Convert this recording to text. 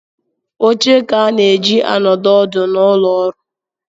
Oche ka a na-eji anọdụ ọdụ n’ụlọọrụ